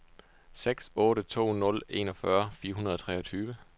seks otte to nul enogfyrre fire hundrede og treogtyve